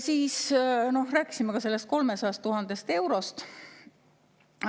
Siis rääkisime ka sellest 300 000 eurost.